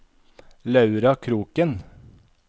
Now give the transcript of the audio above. Laura Kroken